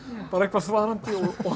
bara eitthvað þvaðrandi